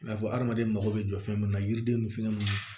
I n'a fɔ hadamaden mako bɛ jɔ fɛn minnu na yiriden ni fɛn ninnu